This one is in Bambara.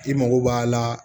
I mago b'a la